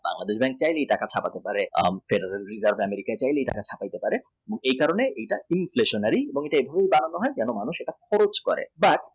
মানুষ মনে করে টাকা ছাপাতে পারে যারা কম টাকা ছাপাতে পারে এই কারণে এটা inflationary কিন্তু এটা এভাবে দাড়ানো